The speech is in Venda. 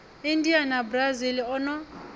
india na brazil o no